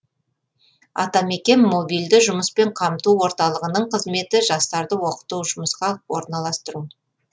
атамекен мобильді жұмыспен қамту орталығының қызметі жастарды оқыту жұмысқа орналастыру